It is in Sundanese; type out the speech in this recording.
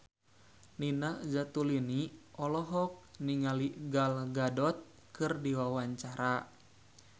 Nina Zatulini olohok ningali Gal Gadot keur diwawancara